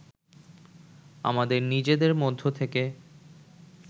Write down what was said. আমাদের নিজেদের মধ্য থেকে